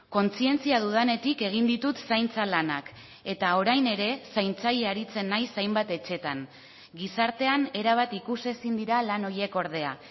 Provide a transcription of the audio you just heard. kontzientzia dudanetik egin ditut zaintza lanak eta orain ere zaintzaile aritzen naiz hainbat etxeetan gizartean erabat ikusezin dira lan horiek ordea